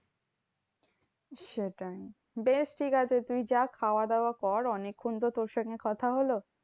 সেটাই, বেশ ঠিকাছে তুই যা খাওয়া দাওয়া কর। অনেক্ষন তো তোর সঙ্গে কথা হলো।